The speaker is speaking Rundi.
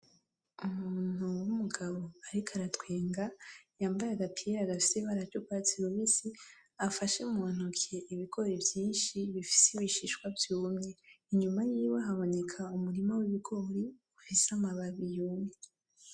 Umuntu wumugabo ariko aratwenga yambaye agapira gafise ibara risa nurwatsi rubisi, afashe muntoki ibigori vyinshi bifise ibishishwa vyumye inyuma yiwe haboneka umurima wibigori ufise amababi yumye.